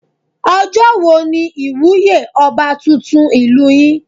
Ọjọ́ wo ni ìwúyé ọba tuntun ìlú yín?